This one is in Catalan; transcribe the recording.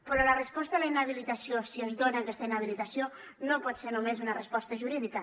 però la resposta a la inhabilitació si es dona aquesta inhabilitació no pot ser només una resposta jurídica